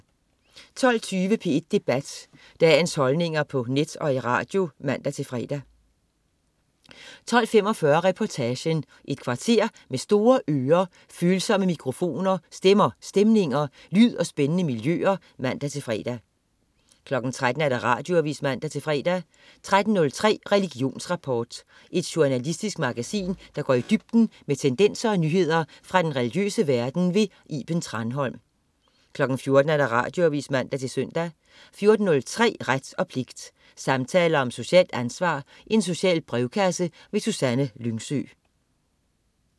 12.20 P1 Debat. Dagens holdninger på net og i radio (man-fre) 12.45 Reportagen. Et kvarter med store ører, følsomme mikrofoner, stemmer, stemninger, lyd og spændende miljøer (man-fre) 13.00 Radioavis (man-fre) 13.03 Religionsrapport. Et journalistisk magasin, der går i dybden med tendenser og nyheder fra den religiøse verden. Iben Thranholm 14.00 Radioavis (man-søn) 14.03 Ret og pligt. Samtaler om socialt ansvar. Social brevkasse. Susanne Lyngsø